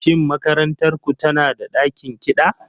Shin makarantar ku tana da ɗakin kiɗa?